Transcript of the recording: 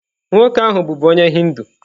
Nwoke ahụ bụbu onye Hindu.